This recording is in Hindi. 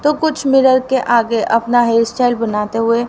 तो कुछ मिरर के आगे अपना हेयर स्टाइल बनाते हुए --